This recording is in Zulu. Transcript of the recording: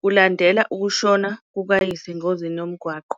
kulandela ukushona kukayise engozini yomgwaqo.